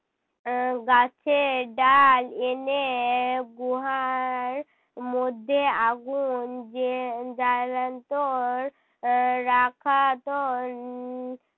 উহ গাছের ডাল এনে গোহার মধ্যে আগুন জে~ জ্বালাতোর আহ রাখাতো। আহ